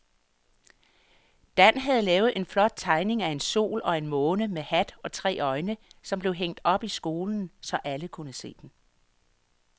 Dan havde lavet en flot tegning af en sol og en måne med hat og tre øjne, som blev hængt op i skolen, så alle kunne se den.